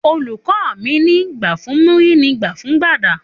Òlukọ mi ni; gbà fún múrì ni gbà fún gbàdá